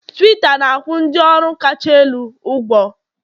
Tuwiita na-akwụ ndị ọrụ kacha elu ugwu